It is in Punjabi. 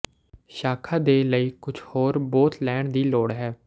ਸ਼ਾਖਾ ਦੇ ਲਈ ਕੁਝ ਹਰੇ ਬੋਤ ਲੈਣ ਦੀ ਲੋੜ ਹੈ